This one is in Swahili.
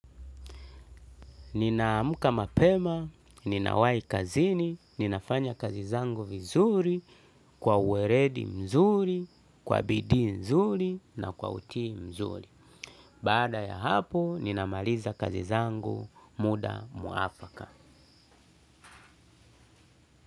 Ninamka mapema, ninawai kazini, ninafanya kazi zangu vizuri, kwa uweledi mzuri, kwa bidii nzuri na kwa utii mzuri. Baada ya hapo, ninamaliza kazi zangu muda mwafaka.